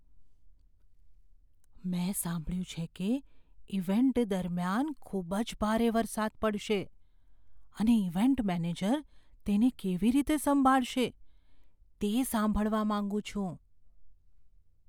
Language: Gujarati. મેં સાંભળ્યું છે કે ઇવેન્ટ દરમિયાન ખૂબ જ ભારે વરસાદ પડશે અને ઇવેન્ટ મેનેજર તેને કેવી રીતે સંભાળશે, તે સાંભળવા માંગુ છું.